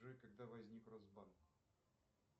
джой когда возник росбанк